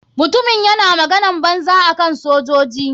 Mutumin yana maganan banza akan sojoji.